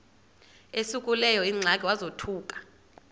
esekuleyo ingxaki wazothuka